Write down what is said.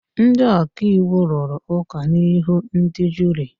Ndị ọka iwu rụrụ ụka n'ihu ndị juri.